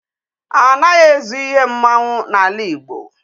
Anaghị ezu ihe mmanwụ n'ala Igbo.